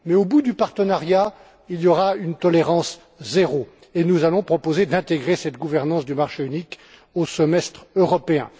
Mais, au bout du partenariat, il y aura une tolérance zéro, et nous allons proposer d'intégrer cette gouvernance du marché unique au semestre européen.